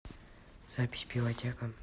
запись пивотека